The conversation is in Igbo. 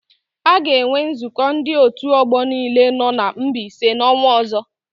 A ga-enwe nzụkọ ndị òtù ọgbọ niile nọ na Mbaise n'ọnwa ọ̀zọ́.